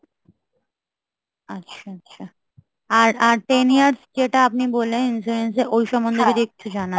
আচ্ছা আচ্ছা, আর আর ten years যেটা আপনি বললেন insurance এ ওই সম্বন্ধে যদি একটু জানান!